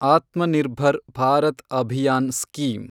Atma Nirbhar Bharat Abhiyan scheme